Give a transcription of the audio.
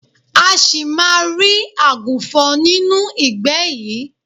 A ṣì máa rí àgùnfọ̀n nínú ìgbẹ́ yìí.